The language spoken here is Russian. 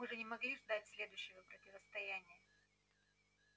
мы же не могли ждать следующего противостояния